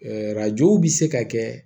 arajow bi se ka kɛ